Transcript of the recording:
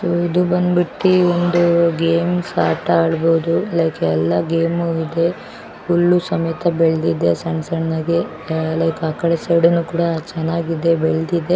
ಇದು ಬಂದ್ಬಿಟ್ಟು ಒಂದು ಗೇಮ್ಸ್ ಆಟ ಆಡಬಹುದು ಲೈಕ್ ಎಲ್ಲಾ ಗೇಮ್ ಇದೆ ಹುಲ್ಲು ಸಮೇತ ಬೆಳದಿದೆ ಸಣ್ಣ ಸಣ್ಣದು ಲೈಕ್ ಆ ಕಡೆ ಸೈಡ್ ನು ಕೂಡ ಚೆನ್ನಾಗಿದೆ ಬೆಳೆದಿದೆ --